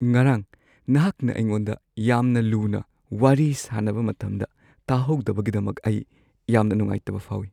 ꯉꯔꯥꯡ ꯅꯍꯥꯛꯅ ꯑꯩꯉꯣꯟꯗ ꯌꯥꯝꯅ ꯂꯨꯅ ꯋꯥꯔꯤ ꯁꯥꯅꯕ ꯃꯇꯝꯗ ꯇꯥꯍꯧꯗꯕꯒꯤꯗꯃꯛ ꯑꯩ ꯌꯥꯝꯅ ꯅꯨꯡꯉꯥꯏꯇꯕ ꯐꯥꯎꯏ꯫ (ꯃꯔꯨꯞ ꯱)